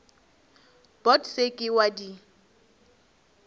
bot se ke wa di